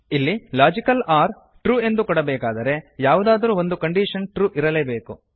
ಇಲ್ಲಿ logical or true ಎಂದು ಕೊಡಬೇಕಾದರೆ ಯಾವುದಾದರೂ ಒಂದು ಕಂಡೀಶನ್ ಟ್ರು ಇರಲೇಬೇಕು